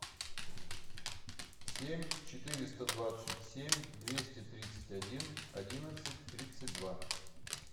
семь четыреста двадцать семь двести тридцать один одиннадцать тридцать два